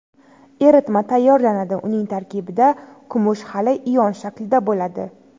Eritma tayyorlanadi, uning tarkibida kumush hali ion shaklida bo‘ladi.